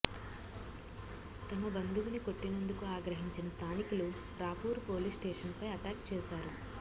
తమ బంధువుని కొట్టినందుకు ఆగ్రహించిన స్ధానికులు రాపూరు పోలీస్ స్టేషన్పై అటాక్ చేశారు